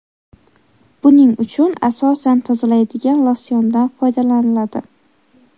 Buning uchun asosan tozalaydigan losyondan foydalaniladi.